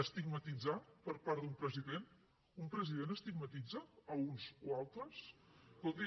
estigmatitzar per part d’un president un president estigmatitza uns o altres escolti